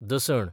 दसण